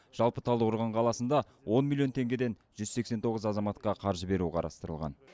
жалпы талдықорған қаласында он миллион теңгеден жүз сексен тоғыз азаматқа қаржы беру қарастырылған